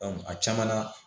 a caman na